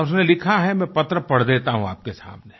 और उसमें लिखा है मैं पत्र पढ़ देता हूँ आपके सामने